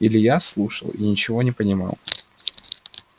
илья слушал и ничего не понимал